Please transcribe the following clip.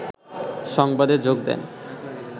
সংবাদে যোগ দেন